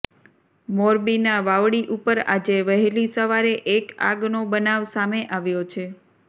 મોરબીના વાવડી ઉપર આજે વહેલી સવારે એક આગનો બનાવ સામે આવ્યો છે